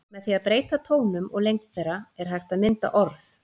Með því að breyta tónum og lengd þeirra er hægt að mynda orð.